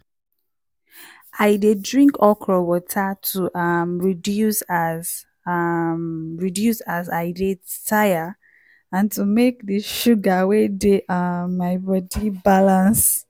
i dey drink okro water to um reduce as um reduce as i dey tire and to make di sugar wey dey um my body balance.